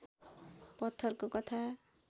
पत्थरको कथा